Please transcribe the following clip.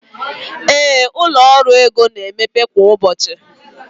ee, ụlọ ọrụ ego na-emepe kwa ụbọchị